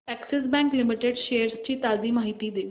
Axis bank limited shares ची ताजी माहिती दे